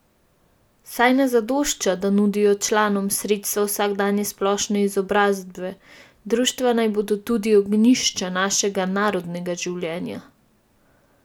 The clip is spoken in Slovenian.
Saj ne zadošča, da nudijo članom sredstva vsakdanje splošne izobrazbe, društva naj bodo tudi ognjišča našega narodnega življenja !